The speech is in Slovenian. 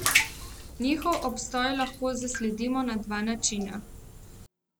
Njihov obstoj lahko zasledimo na dva načina.